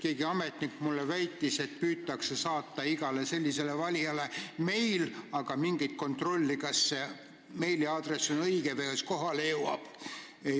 Keegi ametnik väitis mulle, et igale sellisele valijale püütakse saata meil, aga selle üle ei ole mingit kontrolli, kas meiliaadress on õige või kas meil kohale jõuab.